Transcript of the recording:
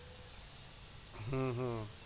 হম হম